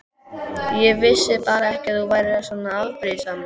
Ég vissi bara ekki að þú værir svona afbrýðisamur.